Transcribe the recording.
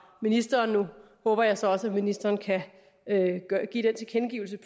ministeren nu håber jeg så også at ministeren kan give den tilkendegivelse